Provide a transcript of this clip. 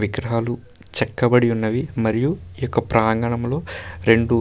విగ్రహాలు చెక్కబడి ఉన్నవి. మరియు ఇక ప్రాంగణంలో రెండు --